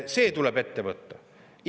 See tuleb ette võtta!